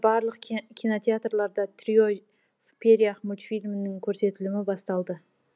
барлық кинотеатрларда трио в перьях мультфильмінің көрсетілімі басталды